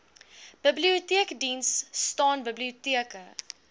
biblioteekdiens staan biblioteke